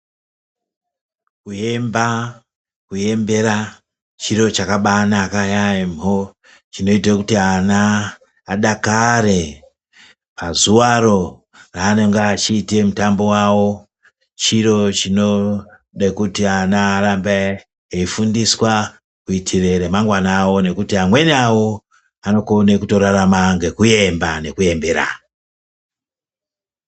Kuemba kuembera chiro chakabaanaka yaemho chinoite kuti ana adakare pazuvaro raanenge achiite mutambo wawo. Chiro chinode kuti ana arambe eifundiswa kuitire remangwana rawo ngekuti amweni awo anokona kutorarama ngekuemba nekuemberana.